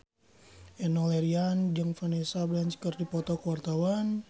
Enno Lerian jeung Vanessa Branch keur dipoto ku wartawan